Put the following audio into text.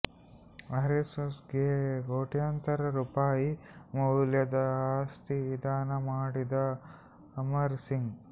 ಆರ್ಎಸ್ಎಸ್ಗೆ ಕೋಟ್ಯಂತರ ರೂಪಾಯಿ ಮೌಲ್ಯದ ಆಸ್ತಿ ದಾನ ಮಾಡಿದ ಅಮರ್ ಸಿಂಗ್